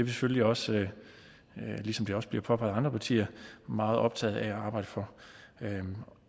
selvfølgelig også ligesom det også bliver påpeget af andre partier meget optaget af at arbejde for